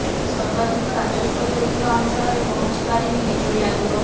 ସର୍ବାଧିକ ରାଜସ୍ୱ ଦେଉଥିବା ଅଂଚଳରେ ପହଂଚି ପାରିନି ବିଜୁଳି ଆଲୁଅ